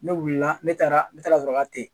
Ne wulila ne taara ne taara sɔrɔ ka te